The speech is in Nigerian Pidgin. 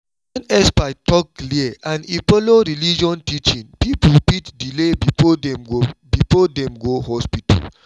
when experts talk clear and e follow religion teaching people fit delay before dem go before dem go hospital.